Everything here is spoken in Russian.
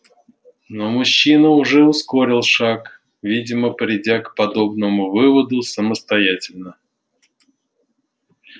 но мужчина уже ускорил шаг видимо придя к подобному выводу самостоятельно